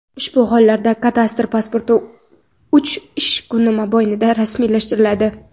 Ushbu hollarda kadastr pasporti uch ish kuni mobaynida rasmiylashtiriladi.